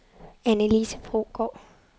Annelise Brogaard